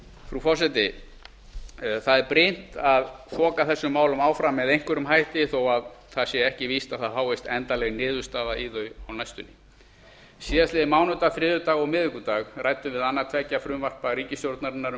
frú forseti það er brýnt að þoka þessum málum áfram með einhverjum hætti þó að það sé ekki víst að það fáist endanleg niðurstaða í þau á næstunni á mánudag þriðjudag og miðvikudag ræddum við annað tveggja frumvarpa ríkisstjórnarinnar um